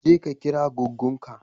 Je ka kira goggon ka.